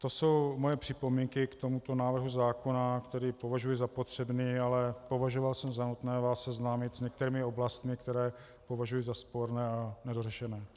To jsou moje připomínky k tomuto návrhu zákona, který považuji za potřebný, ale považoval jsem za nutné vás seznámit s některými oblastmi, které považuji za sporné a nedořešené.